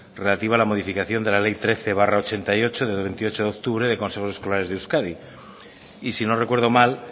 relativo a la modificación de la ley trece barra ochenta y ocho de veintiocho de octubre de consejos escolares de euskadi y si no recuerdo mal